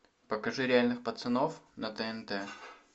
покажи реальных пацанов на тнт